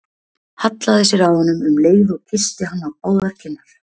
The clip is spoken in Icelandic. Hallaði sér að honum um leið og kyssti hann á báðar kinnar.